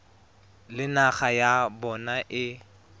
le naga ya bona e